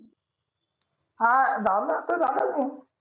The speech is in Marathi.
आह झालं आत्ता झाला भो